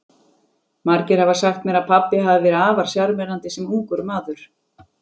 Margir hafa sagt mér að pabbi hafi verið afar sjarmerandi sem ungur maður.